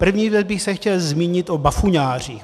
První věc bych se chtěl zmínit o bafuňářích.